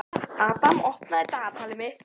Adam, opnaðu dagatalið mitt.